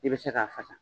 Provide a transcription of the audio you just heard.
I bɛ se k'a fasa